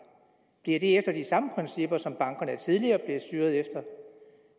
bliver det efter de samme principper som bankerne tidligere blev styret efter